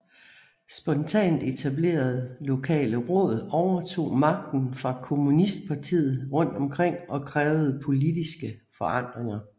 Spontant etablerede lokale råd overtog magten fra kommunistpartiet rundt omkring og krævede politiske forandringer